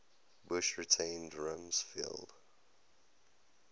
bush retained rumsfeld